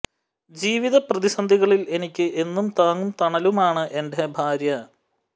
ജീവിത പ്രതിസന്ധികളിൽ എനിക്ക് എന്നും താങ്ങും തണലുമാണ് എന്റെ ഭാര്യ